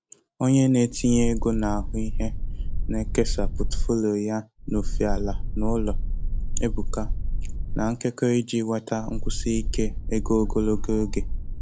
Onye na-etinye ego na-ahụ ihe na-ekesa Pọtụfoliyo ya n'ofe ala na ụlọ, ebuka, na nkekọ iji nweta nkwụsi ike ego ogologo oge.